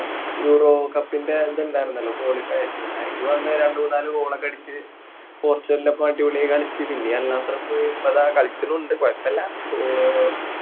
Eurocup ൻ്റെ ഇത് ഉണ്ടാരുന്നല്ലോ qualifiers അഹ് അയില് വന്ന് രണ്ട് മൂന്നാല് goal ഒക്കെ അടിച്ച് പോർചുഗലിനൊപ്പം അടിപൊളി ആയി കളിച്ച് പിന്നെ അൽനാസറിൽ പോയി ഇപ്പൊ ദാ കളിക്കണൊണ്ട് കൊയപ്പില്ല ആഹ്